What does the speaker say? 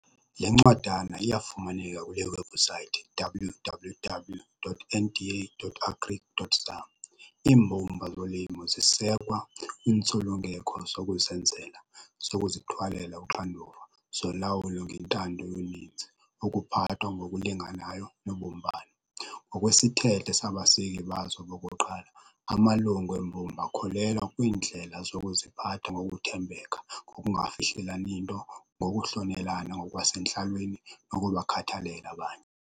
Le ncwadana iyafumaneka kule webhusayithi www.nda.agric.za. "Iimbumba zolimo zisekwa iintsulungeko zokuzenzela, zokuzithwalela uxanduva, zolawulo ngentando yoninzi, ukuphathwa ngokulinganayo nobumbano. Ngokwesithethe sabaseki bazo bokuqala, amalungu embumba akholelwa kwiindlela zokuziphatha ngokuthembeka, ngokungafihlelani nto, ngokuhlonelana ngokwasentlalweni nokubakhathalela abanye".